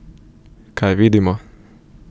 Kaj vidimo?